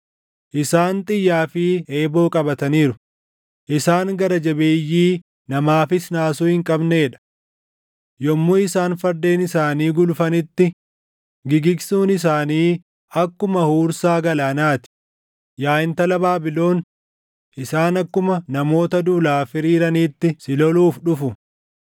Isaan xiyyaa fi eeboo qabataniiru; isaan gara jabeeyyii namaafis naasuu hin qabnee dha. Yommuu isaan fardeen isaanii gulufanitti gigigsuun isaanii akkuma huursaa galaanaa ti; yaa intala Baabilon, isaan akkuma namoota duulaaf hiriiraniitti si loluuf dhufu.